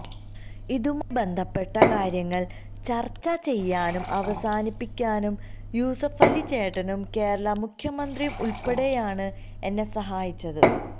ഇതുമായി ബന്ധപ്പെട്ട കാര്യങ്ങള് ചര്ച്ച ചെയ്യാനും അവസാനിപ്പിക്കാനും യൂസഫലി ചേട്ടനും കേരള മുഖ്യമന്ത്രിയും ഉള്പ്പെടെയാണ് എന്നെ സഹായിച്ചത്